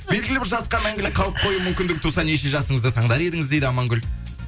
белгілі бір жасқа мәңгілік қалып қою мүмкіндігі туса неше жасыңызды таңдар едіңіз дейді амангүл